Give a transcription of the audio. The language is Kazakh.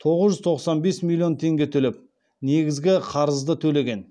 тоғыз жүз тоқсан бес миллион теңге төлеп негізгі қарызды төлеген